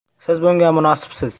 Siz bunga munosibsiz!”.